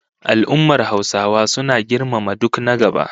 Al'ummar Hausawa suna girmama duk na gaba